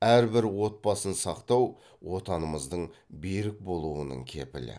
әрбір отбасын сақтау отанымыздың берік болуының кепілі